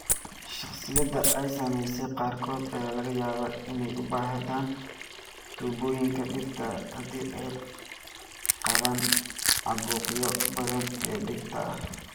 Shakhsiyaadka ay saamaysay qaarkood ayaa laga yaabaa inay u baahdaan tuubooyinka dhegta haddii ay qabaan caabuqyo badan oo dhegta ah.